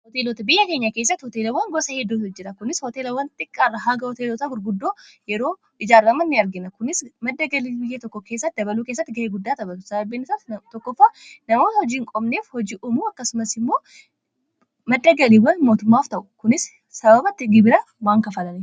Hoteelota biyya keenya kessatti hooteelowwan gosa heduta jira kunis hooteelawwan xiqqaarraa haaga hooteelota gurguddoo yeroo ijaarrama ni argina kunis madda galii biyya tokko keessatti dabaluu keesatti ga'ii guddaa tabatu sababbiinasaa tokkofa namoota hojiin qobneef hojii umuu akkasumas immoo maddagaliiwwan mootummaaf ta'u kunis sababatti gibira waan kaffalaniif.